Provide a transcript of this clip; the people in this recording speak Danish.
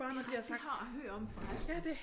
Det rigtigt det har jeg hørt om for resten